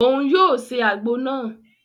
Òun yóò se àgbo náà